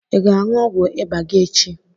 I ga-aṅụ ọgwụ ịba gị echi?